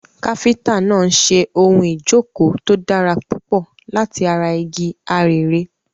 Káfíńtà náà ń ṣe ohun ìjókòó tó dára púpọ̀ láti ara igi arère.